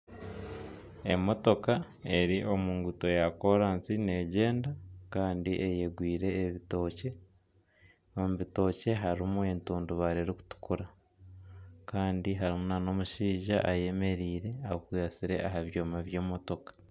Emotooka eri omu nguuto ya koransi negyenda kandi eyegwire ebitookye omu bitookye harimu etundubaare erikutukura kandi harimu na n'omushaija ayemereire ayekwatsire aha byoma by'emotooka.